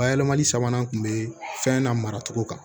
Bayɛlɛmali sabanan tun bɛ fɛn na maracogo kan